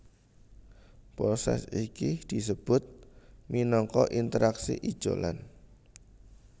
Prosès iki disebut minangka interaksi ijolan